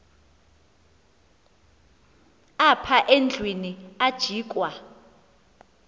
apha endlwini ajikwa